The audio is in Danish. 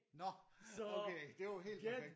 Nå okay det er jo helt perfekt